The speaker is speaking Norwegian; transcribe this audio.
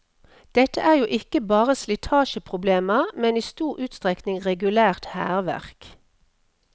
Dette er jo ikke bare slitasjeproblemer, men i stor utstrekning regulært hærverk.